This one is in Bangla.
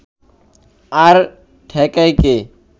আর ঠেকায় কে